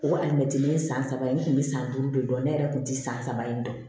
O alimɛtiri ye san saba ye ne kun bɛ san duuru de dɔn ne yɛrɛ kun ti san saba in dɔn